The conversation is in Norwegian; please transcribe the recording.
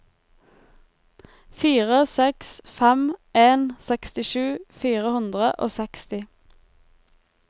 fire seks fem en sekstisju fire hundre og seksti